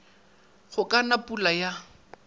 go ka na pula ya